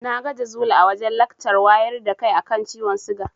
Na ga Jazuli a wajen lakcar wayar da kai a kan ciwon siga.